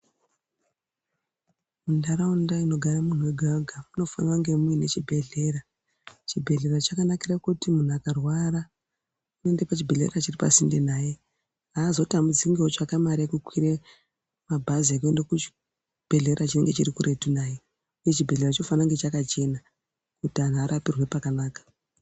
Muntaraunda inogare muntu wega-wega munofanira kunge muine chibhehlera. Chibhehlera chakanakira kuti munhu akarwara unoenda pachibhedhlera chiri pasinde naye. Haazotambudziki ngekutsvake mare yekukwire mabhazi ekuenda kuchibhedhlera chinenge chirikuretu naye. Uye chibhehlera chinofana kunge chakachena, kuti anhu arapirwe pakanaka.